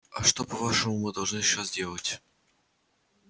а что по-вашему мы должны сейчас делать